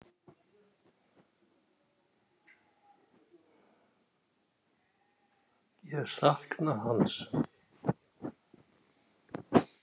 Ég sakna hans.